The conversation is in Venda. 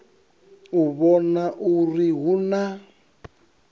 u vhona uri hu na